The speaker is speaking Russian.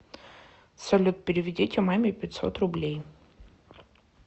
салют переведите маме пятьсот рублей